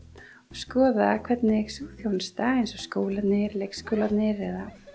skoða hvernig sú þjónusta eins og skólarnir leikskólarnir eða